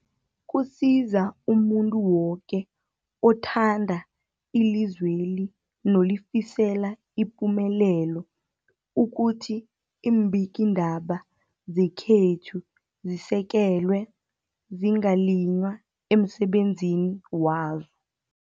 Kusiza umuntu woke othanda ilizweli nolifisela ipumelelo ukuthi iimbikiindaba zekhethu zisekelwe, zingaliywa emsebenzini wazo.